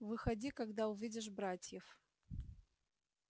выходи когда увидишь братьев